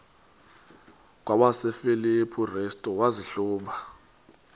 kwabasefilipi restu wazihluba